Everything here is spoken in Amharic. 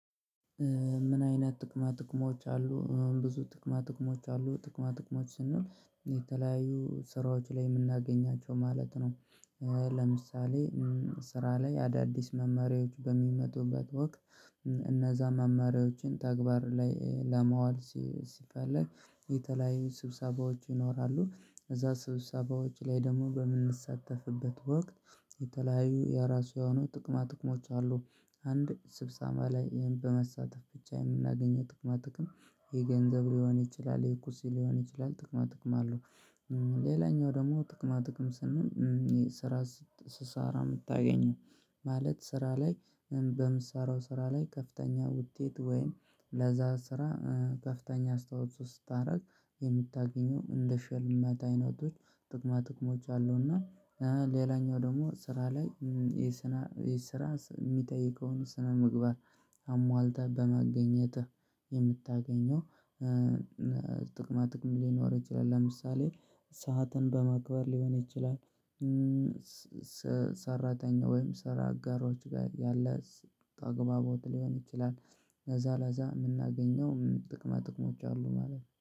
ምን አይነት ጥቅማ ጥቅሞች አሉ ብዙ ጥቅማ ጥቅሞች አሉ ጥቅማ ጥቅሞች ስንል የተለያዩ ስራዎች ላይ የምናገኛቸው ማለት ነው። ለምሳሌ ስራ ላይ አዳዲስ መመሪያዎች በሚመጡበት ወቅት እነዛ መማሪያዎችን ተግባር ላይ ለማዋል ሲፈልግ የተለያዩ ስብሰባዎች ይኖራሉ እዛ ስብሰባዎች ላይ ደግሞ በምንሰተፍበት ወቅት የተለያዩ የራሱ የሆኑ ጥቅማ ጥቅሞች አሉ አንድ ስብሰባ ላይ ይሄን በመሳተፍ ብቻ የምናገኘው ጥቅማ ጥቅም የገንዘብ ሊሆን ይችላል። የቁስ ሊሆን ይችላል ጥቅማ ጥቅም። አለው ደግሞ ጥቅማ ጥቅም ስንል። ስራ ስራ የምታገኘው ማለት ስራ ላይ በምሳሌው ስራ ላይ ከፍተኛ ውጤት ወይም ለዛ ስራ ከፍተኛ አስታውሶ ስታደርግ የምታገኘው እንደ ሽልማት አይነቶች ጥቅማጥቅሞች አሉ። እና ሌላኛው ደግሞ ስራ ላይ ይሄ ስራ የሚጠይቀውን ስነ ምግባር አሟልተህ በማግኘትህ የምታገኘው ጥቅማ ጥቅም ሊኖር ይችላል። ለምሳሌ ሰዓትን በማክበር ሊሆን ይችላል ሰራተኛ ወይም ሰራ አጋሮች ጋር ያለ ተግባባው ሊሆን ይችላል። ከዛ ለዛ የምናገኘው ጥቅማጥቅሞች አሉ ማለት ነው